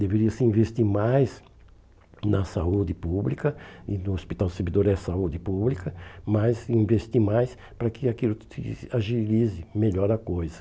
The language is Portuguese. Deveria-se investir mais na saúde pública, e o hospital servidor é saúde pública, mas investir mais para que aquilo se agilize melhor a coisa.